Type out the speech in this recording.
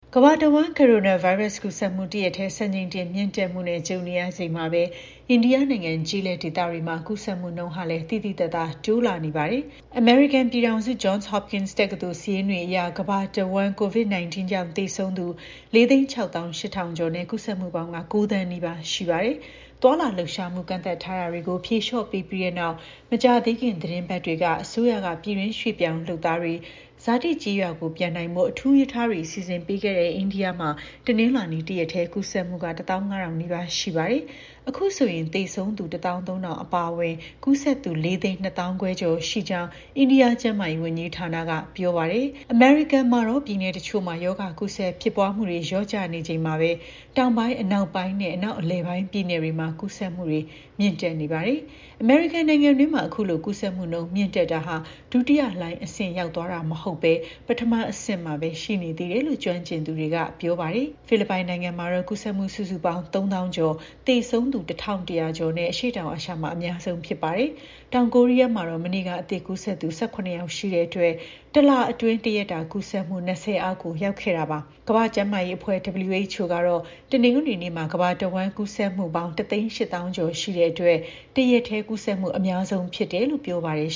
ကမ္ဘာတဝန်း ကိုရိုနာဗိုင်းရပ်စ် ကူးစက်မှု တရက်တည်း စံချိန်တင် မြင့်တက်မှုနဲ့ ကြုံနေရချိန်မှာပဲ အိန္ဒိယနိုင်ငံ ကျေးလက်ဒေသတွေမှာ ကူးစက်မှုနှုန်းလည်း သိသိသာသာ တိုးလာနေတာ တွေ့ရပါတယ်။ အမေရိကန် ပြည်ထောင်စု Johns Hopkins တက္ကသိုလ်ရဲ့ စာရင်းတွေအရ ကမ္ဘာတဝန်း သေဆုံးသူ ၄၆၈,၀၀၀ ကျော်နဲ့ ကူးစက်မှုပေါင်း ၉,၀၀၀,၀၀၀ နီးပါးရှိနေတာပါ။ သွားလာလှုပ်ရှားမှု ကန့်သတ်ထားတာတွေကို ဖြေလျော့ပေးပြီးတဲ့နောက် မကြာသေးခင် သီတင်းပတ်တွေမှာ အစိုးရက ပြည်တွင်း ရွှေ့ပြောင်းလုပ်သားတွေ ဇာတိကျေးရွာကို ပြန်နိုင်ဖို့ အထူးရထားတွေ စီစဉ်ပေးခဲ့တဲ့ အိန္ဒိယနိုင်ငံမှာတော့ တနင်္လာနေ့က တစ်ရက်တည်း ကူးစက်မှု ၁၅,၀၀၀ နီးပါးရှိခဲ့ပါတယ်။ အခုဆိုရင် သေဆုံးသူ ၁၃,၀၀၀ အပါအဝင် ကူးစက်သူ ၄၂၅,၀၀၀ ကျော် ရှိနေကြောင်းလည်း အိန္ဒိယ ကျန်းမာရေးဝန်ကြီးဌာနက ပြောပါတယ်။ ကူးစက်မှုတွေရဲ့ ၉၀ ရာခိုင်နှုန်းကတော့ အမေရိကန်မှာတော့ပြည်နယ်တချို့မှာ ရောဂါကူးစက်ဖြစ်ပွားမှုတွေ လျော့ကျနေချိန်မှာပဲ တောင်ပိုင်း၊ အနောက်ပိုင်းနဲ့ အနောက် အလယ်ပိုင်း ပြည်နယ်တွေမှာ ကူးစက်မှုတွေ မြင့်တက်နေပါတယ်။ သေဆုံးသူ ၁၂၀,၀၀၀ လောက်ရှိနေပြီး သောကြာနဲ့ စနေနေ့တွေမှာ ကူးစက်မှု အသစ် ၃၀,၀၀၀ ကျော်အသီးသီး ရှိခဲ့ပါတယ်။ အမေရိကန်နိုင်ငံအတွင်း အခုလို ကူးစက်မှု မြင့်တက်တာဟာ ဒုတိယလှိုင်း အဆင့်ရောက်ရှိသွားတာမျိုး မဟုတ်ဘဲ ပထမအဆင့်မှာပဲ ရှိနေသေးတယ်လို့ ကျွမ်းကျင်သူတွေက ပြောပါတယ်။ ဖိလစ်ပိုင်နိုင်ငံမှာတော့ ကူးစက်မှု စုစုပေါင်း ၃၀,၀၀၀ ကျော်၊ သေဆုံးသူ ၁,၁၀၀ ကျော်နဲ့ အရှေ့တောင်အာရှမှာ အများဆုံးဖြစ်ပါတယ်။ တောင်ကိုရီးယားမှာတော့ မနေ့က အသစ်ကူးစက်သူ ၁၇ ယောက်ရှိတဲ့အတွက် တလအတွင်းမှာ တရက်တာ ကူးစက်မှု ၂၀ အောက်ရောက်ခဲ့တာပါ။ ကမ္ဘာ့ကျန်းမာရေးအဖွဲ့ WHO ကတော့ တနင်္ဂနွေနေ့မှာ ကမ္ဘာတစ်ဝှမ်းကူးစက်မှုပေါင်း ၁၈၀,၀၀၀ ကျော်ရှိလို့ တစ်ရက်တည်း ကူးစက်မှု အများဆုံးလို့ ပြောပါတယ်